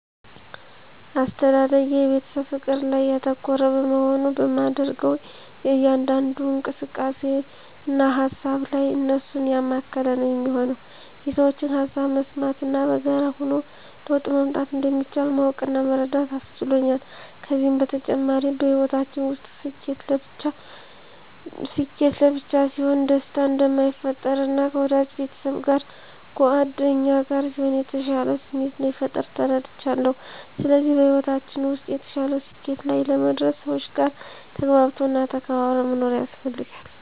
አስተዳደጌ የቤተሰብ ፍቅር ላይ ያተኮረ በመሆኑ በማደርገው እያንዳንዱ እንቅስቃሴ እና ሃሳብ ላይ እነሱን ያማከለ ነው የሚሆነው። የሠዎችን ሃሳብ መስማት እና በጋራ ሆኖ ለውጥ ማምጣት እንደሚቻል ማወቅ እና መረዳት አስችሎኛል። ከዚም በተጨማሪ በሕይወታችን ውስጥ ስኬት ለብቻ ሲሆን ደስታ እንደማይፈጥር እና ከወዳጅ ቤተሰብ እና ጉአደኛ ጋር ሲሆን የተሻለ ስሜት እንደሚፈጥር ተረድቻለው። ስለዚህ በሕይወታችን ውስጥ የተሻለ ስኬት ላይ ለመድረስ ሰዎች ጋር ተግባብቶ እና ተከባብሮ መኖር ያስፈልጋል።